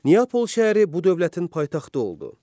Niapol şəhəri bu dövlətin paytaxtı oldu.